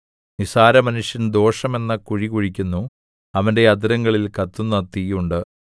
നിസ്സാരമനുഷ്യൻ ദോഷം എന്ന കുഴികുഴിയ്ക്കുന്നു അവന്റെ അധരങ്ങളിൽ കത്തുന്ന തീ ഉണ്ട്